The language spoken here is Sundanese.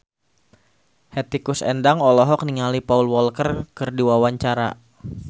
Hetty Koes Endang olohok ningali Paul Walker keur diwawancara